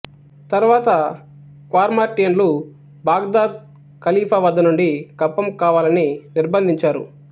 తరువాత క్వార్మార్టియన్లు బాగ్ధాద్ ఖలిఫా వద్దనుండి కప్పం కావాలని నిర్భందించారు